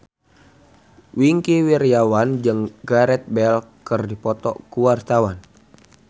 Wingky Wiryawan jeung Gareth Bale keur dipoto ku wartawan